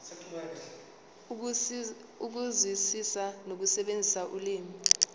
ukuzwisisa nokusebenzisa ulimi